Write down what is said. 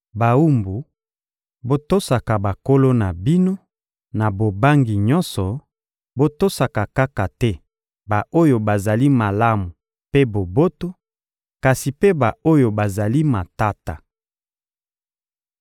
Bawumbu, botosaka bankolo na bino na bobangi nyonso: botosaka kaka te ba-oyo bazali malamu mpe boboto, kasi mpe ba-oyo bazali matata.